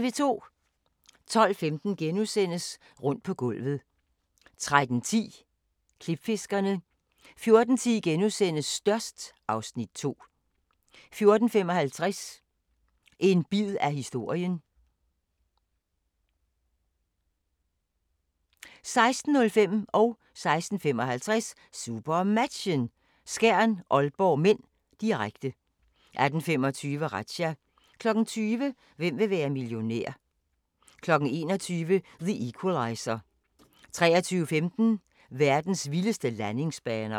12:15: Rundt på gulvet * 13:10: Klipfiskerne 14:10: Størst (Afs. 2)* 14:55: En bid af historien (Afs. 5) 16:05: SuperMatchen: Skjern-Aalborg (m), direkte 16:55: SuperMatchen: Skjern-Aalborg (m), direkte 18:25: Razzia 20:00: Hvem vil være millionær? 21:00: The Equalizer 23:15: Verdens vildeste landingsbaner